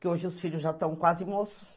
Que hoje os filhos já estão quase moços.